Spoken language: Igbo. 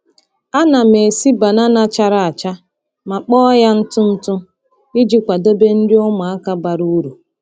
Ana m esi banana chara acha ma kpọọ ya ntụ ntụ iji kwadebe nri ụmụaka bara uru.